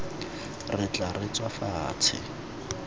re tla re tswa fatshe